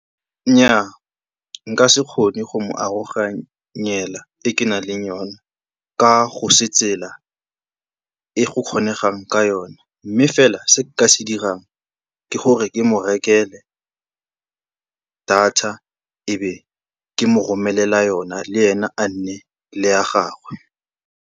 Nnyaa, nka se kgone go mo aroganyela e ke nang le yona ka go se tsela e go kgonegang ka yona. Mme fela se nka se dirang, ke gore ke mo rekele data e be ke mo romelela yona, le ene a nne le ya gagwe.